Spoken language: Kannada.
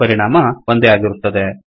ಪರಿಣಾಮ ಒಂದೇ ಆಗಿರುತ್ತದೆ